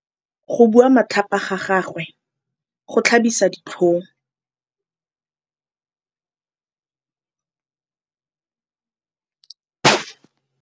Go bua matlhapa ga gagwe go tlhabisa ditlhong.